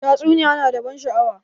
Tatsuniya na da ban sha'awa